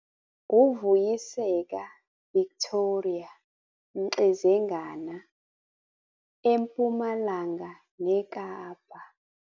UVuyiseka Victoria Mxezengana - EMpumalanga neKapa